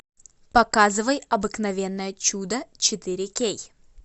показывай обыкновенное чудо четыре кей